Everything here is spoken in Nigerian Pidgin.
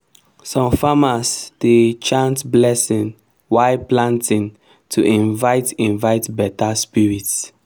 some farmers dey chant blessing while planting to invite invite better spirits.